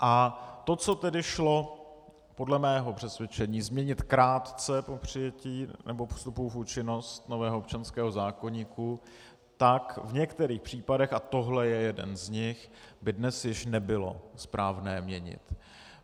A to, co tedy šlo podle mého přesvědčení změnit krátce po přijetí nebo vstupu v účinnost nového občanského zákoníku, tak v některých případech, a tohle je jeden z nich, by dnes již nebylo správné měnit.